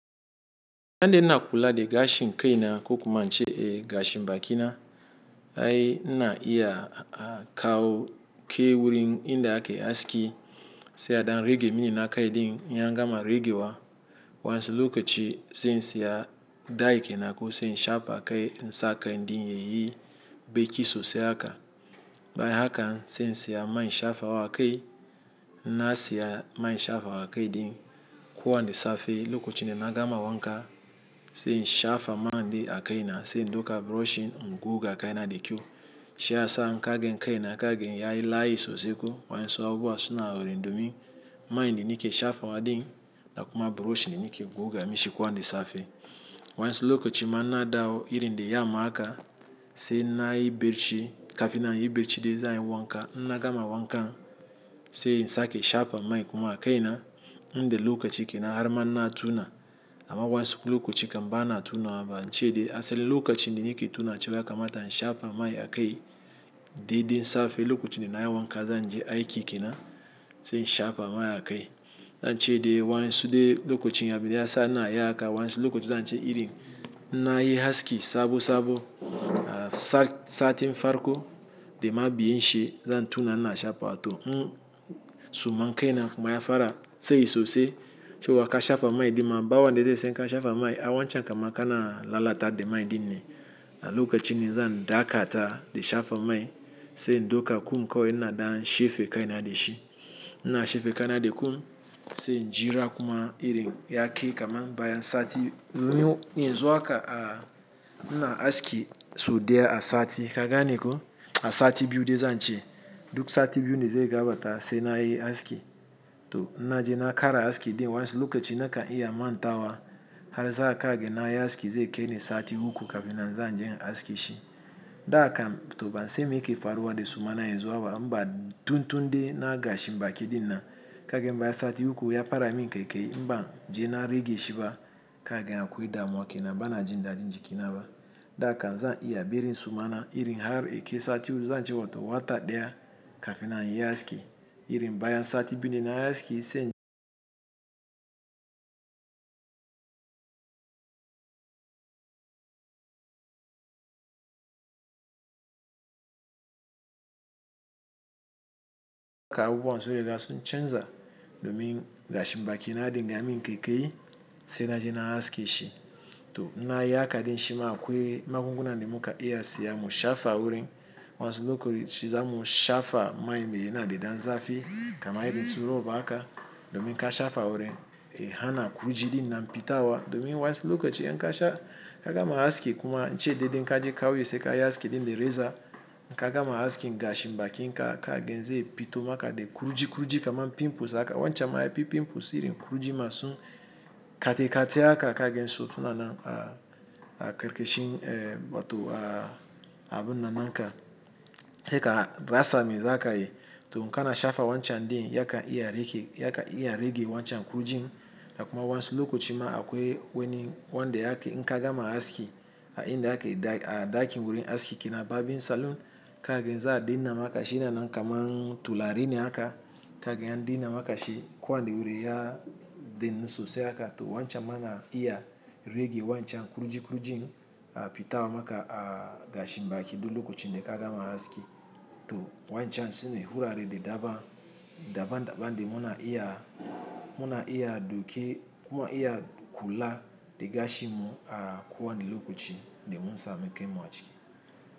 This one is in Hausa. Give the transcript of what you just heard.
Yande ina kula de gashin kai na ko kuma an ce gashin baki na, ai ina iya a kawo kai wurin inda ake haski, sai a dan rage min na kai din. In ya gama rage wa, waɗansu lokaci sai in siya dye kenan ko sai in shafa kai na sake din yayi baki sosai haka. Bayan haka sai in siya mai in shafa wa kai, in na siya mai shafa wa kai din kowane safe. Lokacin da na gama wanka, sai in shafa man din a kai na, sai in ɗauka brushin goga kai na da kyo. Shi ya sa inka gan kai na kagan yayi la'ayi sosai ko waɗansu abubuwa suna orin domin man din yake shafa wa din, da kuma brushin yake goga mishi kowane safe. Waɗansu lokaci ma na dawo irin da yamma haka, sai na yi bacci kafin na yi bacci dai zan yi wanka. In na gama wanka, sai in sake shafa man kuma a kai na, in da lokaci ke na har ma na tuna, amma waɗansu lokaci kam ba na tuna wa ba. An ce dai asali lokacin da yake tuna cewa ya kamata in shafa man a kai dai din safe. Lokacin da na yi wanka zan je aiki ke na, sai in shafa man a kai. An ce dai waɗansu dai lokacin ya biya ya sa na yi haka, waɗansu lokaci zan ce irin na yi aski sabo sabo, satin farko de ma biyan shi zan tuna ina shafa hato. In suma kai na kuma ya fara tsayi sosai, cewa ka shafa mai dai ma bawa dai dai sai ka shafa man. A wancan kam aka na lalata de man din ne. Na lokacin ina zan ɗaga ta de shafa mai, sai in ɗauka kum kawai ina dan shefe kai na da shi. Ina shefe kai na da kum, sai in jira kuma irin ya kai kamar bayan sati. In zo haka a ina aski sau ɗaya a sati, ka gane ko? A sati biyu dai zan ce. Duk sati biyu ne zai gabarta sai na yi aski. To in na je na kara haski dai waɗansu lokaci naka iya a mantawa. Har za ka ga na yi aski zai kai ne sati uku kafin na zan je in aske shi. Da kam to ba sai me ke faruwa de su man na yanzu inba tuntun de na gashi baki din na. Ka ga bayan sati uku ya fara min kai kai inba je na rage shi ba, ka ga ya akwai damuwa ke na ba na jin da jin jiki na ba. Da kam zan iya barin suma irin har yake sati uku zan ce hoto wata ɗaya kafin na yi aski. Irin bayan sati biyu ne na yi aski sai kawo waɗansu lokacin canza domin gashin baki na dai ya min kai kai sai na je na haske shi. To in na yi haka dai shi ma akwai magunguna de muka iya siya mu shafa wurin. Waɗansu lokaci zamu shafa man me yana da dan zafi, kamar irin su rob haka domin ka shafa wurin, ya hana kujirinan ɓita wa. Domin waɗansu lokaci in ka sha ka gama aski kuma an ce dai din ka je kauye sai kayi aski din de reza. Ka gama haskin gashin baki na ka ga zai fito maka de kurji kurji kamar pimples haka. Wancan ma ai pimples irin kurjii masu katikati haka ka ga in so tuna nan a karkashin eh batu a abin nan inka sai ka rasa mai zaka yi. To in kana shafa wancan din ya ka iya rage wancan kurjin. Da kuma waɗansu lokaci ma akwai wani wanda yake in ka gama haski a inda ake ɗakin wurin aski kenan barbing salon. Ka ga in za a daina maka shi na nan kamar tulare ne haka. Ka ga an daina maka shi kowani wurin ya dainu sosai haka. To wancan ma na iya rage wancan kurji kurjin a fita maka a gashin baki to lokacin da ka gama aski. To wancan shine hulare de daban daban de muna iya muna iya ɗauke kuma iya kula de gashi mu a kowani lokaci de mun samu kai mu a haski.